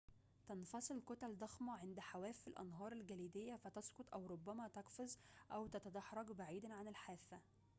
تنفصل كتل ضخمة عند حواف الأنهار الجليدية فتسقط أو ربما تقفز أو تتدحرج بعيدًا عن الحافة